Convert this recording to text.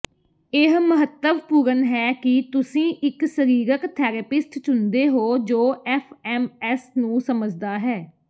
ਇਹ ਮਹੱਤਵਪੂਰਨ ਹੈ ਕਿ ਤੁਸੀਂ ਇੱਕ ਸਰੀਰਕ ਥੈਰੇਪਿਸਟ ਚੁਣਦੇ ਹੋ ਜੋ ਐਫਐਮਐਸ ਨੂੰ ਸਮਝਦਾ ਹੈ